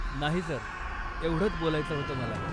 नाही, सर, एवढंच बोलायचं होतं मला.